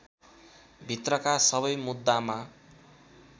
भित्रका सबै मुद्दामा